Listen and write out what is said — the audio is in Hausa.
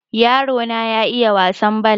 yarona ya iiya wasan bal